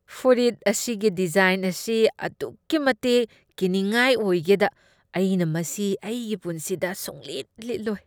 ꯐꯨꯔꯤꯠ ꯑꯁꯤꯒꯤ ꯗꯤꯖꯥꯏꯟ ꯑꯁꯤ ꯑꯗꯨꯛꯀꯤ ꯃꯇꯤꯛ ꯀꯤꯅꯤꯡꯉꯥꯏ ꯑꯣꯏꯒꯦꯗ ꯑꯩꯅ ꯃꯁꯤ ꯑꯩꯒꯤ ꯄꯨꯟꯁꯤꯗ ꯁꯨꯡꯂꯤꯠ ꯂꯤꯠꯂꯣꯏ꯫